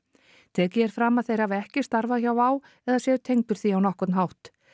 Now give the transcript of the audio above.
tekið er fram að þeir hafi ekki starfað hjá Wow eða séu tengdir því á nokkurn hátt